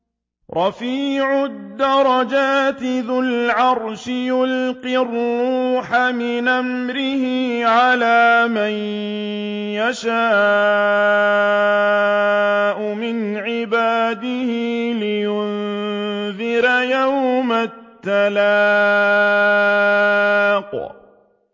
رَفِيعُ الدَّرَجَاتِ ذُو الْعَرْشِ يُلْقِي الرُّوحَ مِنْ أَمْرِهِ عَلَىٰ مَن يَشَاءُ مِنْ عِبَادِهِ لِيُنذِرَ يَوْمَ التَّلَاقِ